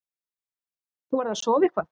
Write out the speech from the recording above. Þú verður að sofa eitthvað.